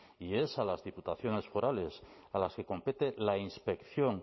y es a las diputaciones forales a las que compete la inspección